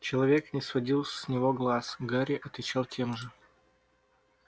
человечек не сводил с него глаз гарри отвечал тем же